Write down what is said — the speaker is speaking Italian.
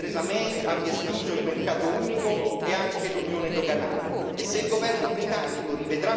Prendiamo atto con rammarico che Theresa May abbia escluso il mercato unico e anche l'Unione doganale.